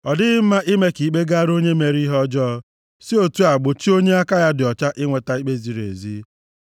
Ọ dịghị mma ime ka ikpe gara onye mere ihe ọjọọ, si otu a gbochie onye aka ya dị ọcha inweta ikpe ziri ezi.